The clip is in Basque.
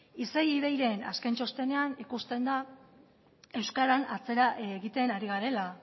isei ivei ren azken txostenean ikusten da euskaran atzera egiten ari garela